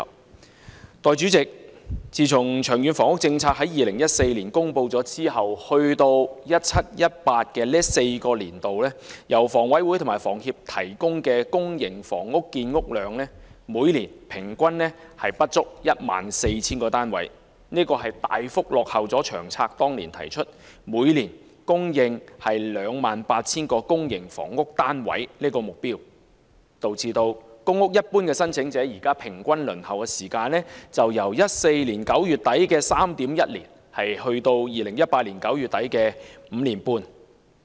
代理主席，自從《長遠房屋策略》於2014年公布後，直至 2017-2018 的4個年度，由香港房屋委員會和香港房屋協會提供的公營房屋建屋量每年平均不足 14,000 個單位，大幅落後於《長策》當年提出每年供應 28,000 個公營房屋單位的目標，導致公屋申請者的平均輪候時間由2014年9月底的 3.1 年升至2018年9月底的 5.5 年。